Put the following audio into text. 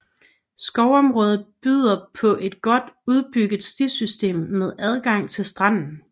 Skovområdet byder på et godt udbygget stisystem med adgang til stranden